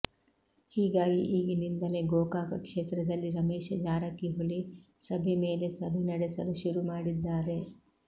ಹೀಗಾಗಿ ಈಗಿನಿಂದಲೇ ಗೋಕಾಕ ಕ್ಷೇತ್ರದಲ್ಲಿ ರಮೇಶ ಜಾರಕಿಹೊಳಿ ಸಭೆ ಮೇಲೆ ಸಭೆ ನಡೆಸಲು ಶುರುಮಾಡಿದ್ದಾರೆ